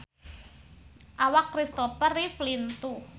Awak Christopher Reeve lintuh